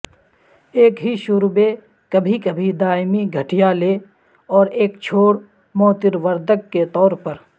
ایک ہی شوربے کبھی کبھی دائمی گٹھیا لے اور ایک چھوڑ موتروردک کے طور پر